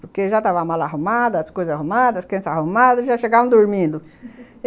Porque já tava a mala arrumada, as coisas arrumadas, as crianças arrumadas, já chegavam dormindo